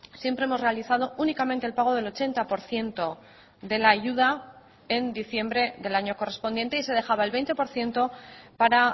siempre hemos realizado únicamente el pago del ochenta por ciento de la ayuda en diciembre del año correspondiente y se dejaba el veinte por ciento para